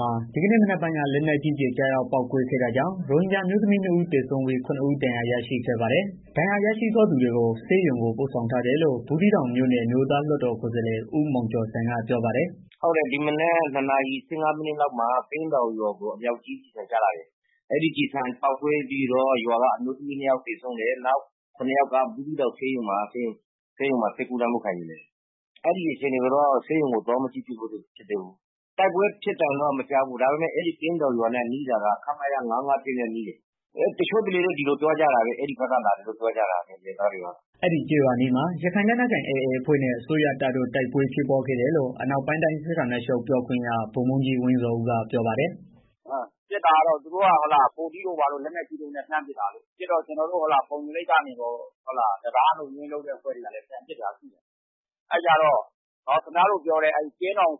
မှာ ဒီကနေ့မနက်ပိုင်းက လက်နက်ကြီးကျည် ကျရောက်ပေါက်ကွဲခဲ့တာကြောင့် ရိုဟင်ဂျာ အမျိုးသမီး ၂ ဦး သေဆုံးပြီး ၇ ဦး ဒဏ်ရာရရှိခဲ့ပါတယ်။ ဒဏ်ရာရရှိသွားသူတွေကို ဆေးရုံ ပို့ဆောင်ထားတယ်လို့ ဘူးသီးတောင် အမျိုးသားလွှတ်တော်ကိုယ်စားလှယ် ဦးမောင်ကျော်ဇံက ပြောပါတယ်။ “ဟုတ်တယ် ဒီမနက် ၂ နာရီ ၁၅ လောက်မှာ ကင်းတောင်ကျေးရွာကို အမြောက်ကြီးကျည်ဆန် ကျလာတယ်။ အဲဒီကျည်ဆန် ပေါက်ကွဲပြီးတော့ ရွာက အမျိုးသမီး ၂ ယောက် သေဆုံးတယ်။ နောက် ၇ ယောက်က ဘူးသီးတောင် ဆေးရုံမှာ ဆေးကုသမှု ခံယူနေတယ်။ ဒဏ်ရာအခြေအနေကိုတော့ ဆေးရုံကို သွားမကြည့်ရသေးဘူး။ တိုက်ပွဲဖြစ်သံတော့ မကြားရဘူး။ ဒါပေမယ့် အဲဒီကျေးရွာနဲ့ နီးတာတော့ ခမရ ၅၅၁ နဲ့ နီးတယ်။ တချို့ဒေသခံတွေကတော့ အဲဒီဘက်ကလာတယ်လို့ ပြောကြတယ်။” အဲဒီကျေးရွာအနီးမှာ ရခိုင်လက်နက်ကိုင် AA အဖွဲ့နဲ့ အစိုးရတပ်တို့ တိုက်ပွဲဖြစ်ပွားခဲ့တယ်လို့ အနောက်ပိုင်းတိုင်း စစ်ဌာနချုပ် ပြောခွင့်ရ ဗိုလ်မှူးကြီး ဝင်းဇော်ဦးက ပြောပါတယ်။ “AA ဘက်က လက်နက်ကြီးတွေနဲ့ လာပစ်တာ။ ပစ်တော့ ကျနော်တို့ဘက်ကလည်း ဖုံညိုလိပ်ဘက်က တံတားလုံခြုံရေး ယူထားတဲ့ အဖွဲ့တွေက ပြန်ပစ်တာရှိတယ်။ အဲတော့ ကင်းတောင်ဆိုတဲ့ ဥစ္စာက ချောင်း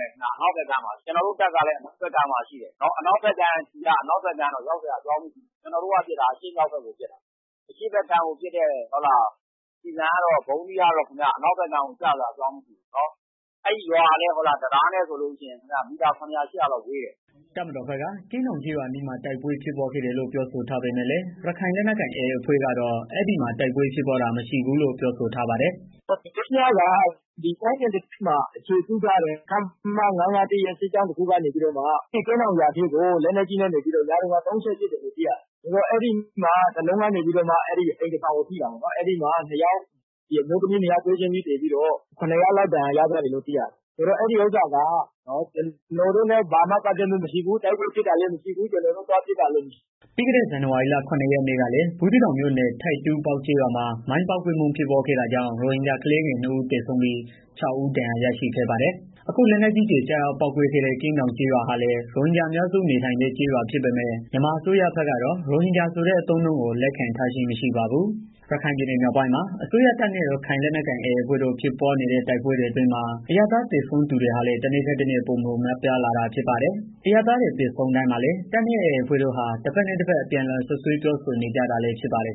ရဲ့ အနောက်ဘက်ကမ်းမှာ ကျနော်တို့တပ်ကလည်း အနောက်ဘက်ကမ်းမှာ၊ အနောက်ဘက်ကမ်းက ကျည်က အနောက်ဘက်ကမ်းကို ရောက်စရာအကြောင်းကို မရှိဘူး။ ကျနော်တို့ပစ်တာက အရှေ့မြောက်ဘက်ကို ပစ်တာ။ အရှေ့ဘက်ကမ်းကိုပစ်တဲ့ ကျည်ဆန်ကတော့ အနောက်ဘက်ကမ်းကို ကျစရာအကြောင်း မရှိဘူးနော်။ အဲဒီရွာကလည်း တံတားနဲ့ဆိုရင် မီတာ ၇၀၀၊ ၈၀၀ လောက်ဝေးတယ်။” တပ်မတော်ဘက်က ကင်းတောင်ကျေးရွာအနီးမှာ တိုက်ပွဲဖြစ်ပွားခဲ့တယ်လို့ ပြောဆိုထားပေမယ့်လည်း ရခိုင်လက်နက်ကိုင် AA အဖွဲ့ကတော့ အဲဒီမှာ တိုက်ပွဲဖြစ်ပွားတာ မရှိဘူးလို့ ပြောဆိုထားပါတယ်။ “မနေ့ညက ကင်းတောင်ကျေးရွာအနားမှာ အခြေပြုထားတဲ့ ခမရ ၅၅၁ က ကင်းတောင်ရွာထဲကို လက်နက်ကြီးတွေနဲ့ ၃ ချက်ပစ်တယ်လို့ သိရတယ်။ အဲဒီမှာ တလုံးက အိမ်တဆောင်ကို ထိတာပေါ့နော်။ အဲဒီမှာ အမျိုးသမီး ၂ ဦး သေတယ်။ ၇ ဦး ဒဏ်ရာရတယ်ဆိုပြီးတော့ သိရတယ်။ အဲတာက ကျနော်တို့နဲ့ ဘာမှ ပတ်သက်မှု မရှိဘူး။ တိုက်ပွဲဖြစ်တာလည်း မရှိဘူး၊ ကျနော်တို့ သွားပစ်တာလည်း မရှိဘူး။” ပြီးခဲ့တဲ့ ဇန်နဝါရီလ ၇ ရက်နေ့ကလည်း ဘူးသီးတောင်မြို့နယ် ထိပ်တူးပေါက် ကျေးရွာမှာ မိုင်းပေါက်ကွဲမှု ဖြစ်ပွားခဲ့တာကြောင့် ရိုဟင်ဂျာကလေးငယ် ၂ ဦး သေဆုံးပြီး ၆ ဦး ဒဏ်ရာရရှိခဲ့ပါတယ်။ အခု လက်နက်ကြီးကျည် ကျရောက်ပေါက်ကွဲခဲ့တဲ့ ကင်းတောင်ကျေးရွာဟာလည်း ရိုဟင်ဂျာအများစု နေထိုင်တဲ့ကျေးရွာ ဖြစ်ပေမယ့် မြန်မာအစိုးရဘက်ကတော့ ရိုဟင်ဂျာဆိုတဲ့ အသုံးအနှုန်းကို လက်ခံထားခြင်း မရှိပါဘူး။ ရခိုင်ပြည်နယ် မြောက်ပိုင်းမှာ အစိုးရတပ်နဲ့ ရခိုင်လက်နက်ကိုင် AA အဖွဲ့တို့ ဖြစ်ပွားနေတဲ့ တိုက်ပွဲတွေအတွင်းမှာ အရပ်သားသေဆုံးသူတွေဟာလည်း တနေ့ထက်တနေ့ ပိုမိုပြားလာတာ ဖြစ်ပါတယ်။ အရပ်သားတွေ သေဆုံးတိုင်းမှာလည်း တပ်နဲ့ AA အဖွဲ့တို့ဟာ တဖက်နဲ့တဖက် အပြန်အလှန် စွပ်စွဲပြောဆိုနေကြတာလည်း ဖြစ်ပါတယ်